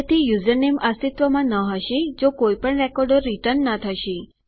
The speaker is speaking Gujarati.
તેથી યુઝરનેમ અસ્તિત્વમાં ન હશે જો કોઈપણ રેકોર્ડો રીટર્ન ન થશે